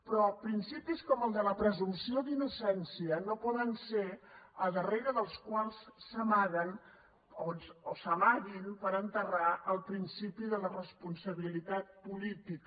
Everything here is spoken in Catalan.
però principis com el de la presumpció d’innocència no poden ser aquells a darrere dels quals s’amaguen o s’amaguin per enterrar el principi de la responsabilitat política